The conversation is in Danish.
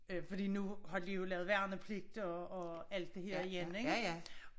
Fordi nu har de jo lavet værnepligt og og alt det her igen ik